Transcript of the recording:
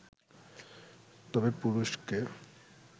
তবে পুরুষকে